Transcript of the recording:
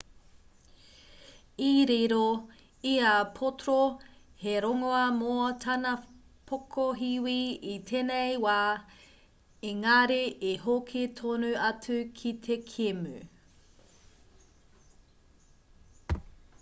i riro i a potro he rongoā mō tana pokohiwi i tēnei wā ēngari i hoki tonu atu ki te kēmu